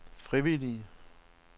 frivillige